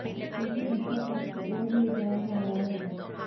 तुमको भ्रष्टाचार की ओर ले जाया जा रहा है